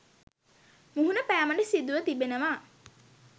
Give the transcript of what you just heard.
මුහුණ පෑමට සිදුව තිබෙනවා.